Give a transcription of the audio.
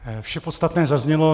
Vše podstatné zaznělo.